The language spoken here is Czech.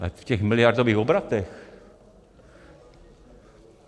Ale v těch miliardových obratech.